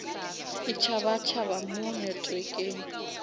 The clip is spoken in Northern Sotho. e tšhaba tšhaba mo networkeng